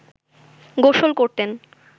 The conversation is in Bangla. গোসল করতেন